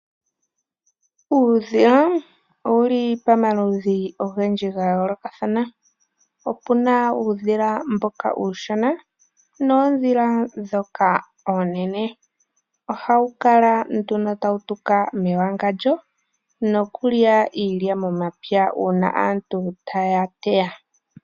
Uudhila owu li pamaludhi ogendji ga yoolokathana. Opu na mboka uushona nosho woo oondhila oonene. Oha wu kala tawu tuka mewangandjo nokulya iilya momapya pethimbo lyoku teya.